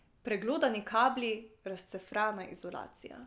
Preglodani kabli, razcefrana izolacija.